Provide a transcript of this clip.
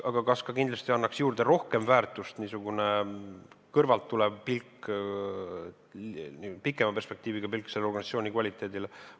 Aga kas niisugune kõrvalt tulev, pikema perspektiiviga pilk annaks juurde rohkem väärtust selle organisatsiooni kvaliteedile?